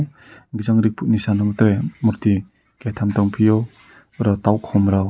bising rite ki sajuk ei murti tang tongfio borok tabuk khum rok.